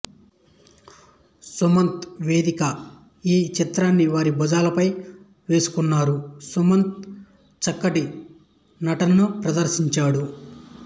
సుమంత్ వేదిక ఈ చిత్రాన్ని వారి భుజాలపై వేసుకున్నారు సుమంత్ చక్కటి నటనను ప్రదర్శించాడు